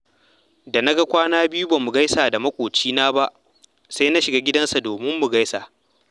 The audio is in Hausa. Da na ga kwana biyu ba mu gaisa da maƙocina ba, sai na shiga gidansa domin mu gaisa